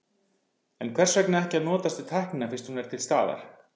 En hvers vegna ekki að notast við tæknina fyrst hún er til staðar?